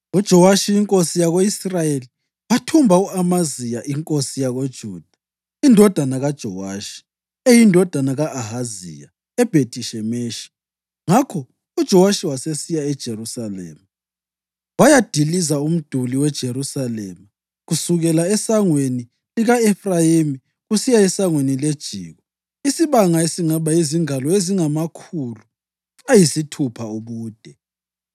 UJowashi inkosi yako-Israyeli wathumba u-Amaziya inkosi yakoJuda, indodana kaJowashi, eyindodana ka-Ahaziya, eBhethi-Shemeshi. Ngakho uJowashi wasesiya eJerusalema wayadiliza umduli weJerusalema kusukela esangweni lika-Efrayimi kusiya eSangweni leJiko, isibanga esingaba yizingalo ezingamakhulu ayisithupha ubude.